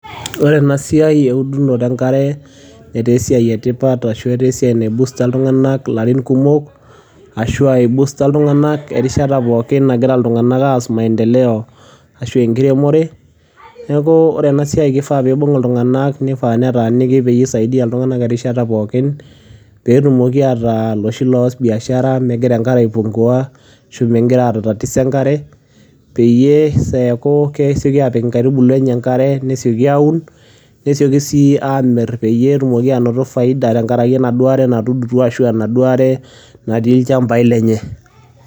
And this work of drilling water has been an important work or it has help people for many years or it has boost people anytime they are doing development or farming so this work people should take it or be near people and help all times so that they can do business without water decreasing or having any problems related to water so that they can easily put their seedlings water and plant easily and also sell quickly and get profit because of the water they have drill or it is there in their lands.